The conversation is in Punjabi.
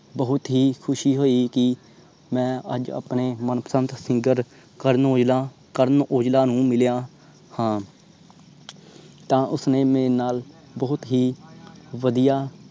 ਬਹੁਤ ਹੀ ਖੁਸ਼ੀ ਹੋਇ ਕਿ ਮੈਂ ਅੱਜ ਆਪਣੇ ਮਨਪਸੰਦ singer ਕਰਨ ਔਜਲਾ ਕਰਨ ਔਜਲਾ ਨੂੰ ਮਿਲੀਆਂ ਹਾਂ ਤਾਂ ਉਸਨੇ ਮੇਰੇ ਨਾਲ ਬਹੁਤ ਹੀ ਵਧੀਆ